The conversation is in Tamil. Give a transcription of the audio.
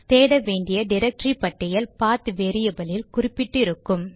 தேட வேண்டிய டிரக்டரி பட்டியல் பாத்PATH வேரியபில் இல் குறிப்பிட்டு இருக்கும்